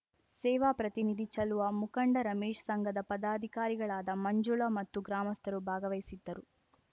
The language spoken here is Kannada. ಸೇವಾ ಪ್ರತಿನಿಧಿ ಚಲುವ ಮುಖಂಡ ರಮೇಶ್‌ ಸಂಘದ ಪದಾಧಿಕಾರಿಗಳಾದ ಮಂಜುಳ ಮತ್ತು ಗ್ರಾಮಸ್ಥರು ಭಾಗವಹಿಸಿದ್ದರು